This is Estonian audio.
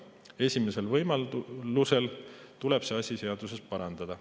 Esimesel võimalusel tuleb see asi seaduses parandada.